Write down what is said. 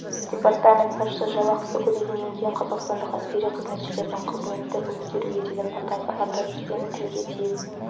департамент басшысы жалақысы көбейгеннен кейін қазақстандық әскери қызметшілердің қызметті өткеруге деген ынтасы арта түскенін тілге тиек